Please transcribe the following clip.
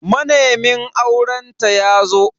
Manemin aurenta yazo.